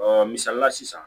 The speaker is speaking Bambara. misali la sisan